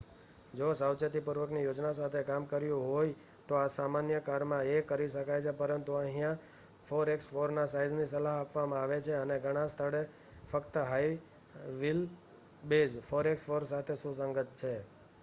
જો સાવચેતીપૂર્વકની યોજના સાથે કામ કર્યું હોય તો આ સામાન્ય કારમાં એ કરી શકાય છે પરંતુ અહિયાં 4x4ના સાઇઝની સલાહ આપવામાં આવે છે અને ઘણા સ્થળો ફક્ત હાઇ વ્હીલ બેઝ 4x4 સાથે સુસંગત છે